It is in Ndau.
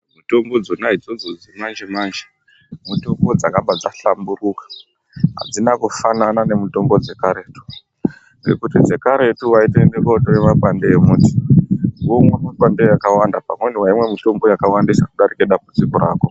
Mitombo dzona idzodzo dzechimanje manje mitombo dzakabva dzahlamburuka. Adzina kufanana nemitombo dzekaretu ngekuti dzekaretu waitoende kootore makwande emuti womwa makwande akawanda, pamweni pacho waimwe mutombo wakawandisa kudarika dambudziko rako.